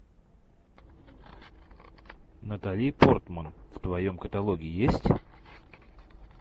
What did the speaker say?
натали портман в твоем каталоге есть